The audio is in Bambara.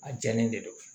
A jalen de don